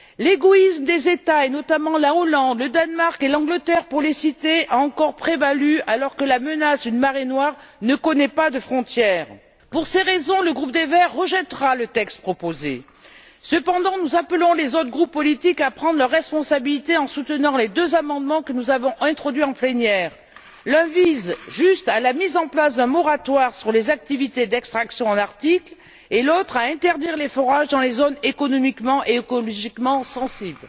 L'égoïsme des États et, notamment, de la Hollande, du Danemark et de l'Angleterre, pour les citer, a encore prévalu, alors que la menace d'une marée noire ne connaît pas de frontières. Pour ces raisons, le groupe des Verts rejettera le texte proposé. En revanche, nous appelons les autres groupes politiques à prendre leurs responsabilités en soutenant les deux amendements que nous avons introduits en plénière l'un visant juste à la mise en place d'un moratoire sur les activités d'extraction dans l'Arctique et l'autre, à interdire les forages dans les zones économiquement et écologiquement sensibles.